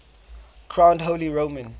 crowned holy roman